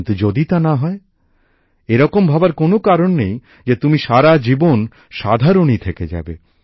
কিন্তু যদি তা না হয় এরকম ভাবার কোনো কারণ নেই যে তুমি সারা জীবন সাধারণই থেকে যাবে